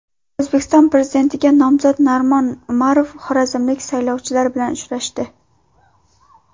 O‘zbekiston Prezidentligiga nomzod Narimon Umarov xorazmlik saylovchilar bilan uchrashdi.